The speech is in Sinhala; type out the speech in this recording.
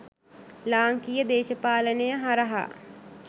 ලාංකීය දේශපාලනය හරහා